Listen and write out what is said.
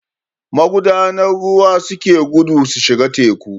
Magudanan ruwa suke gudu su shiga teku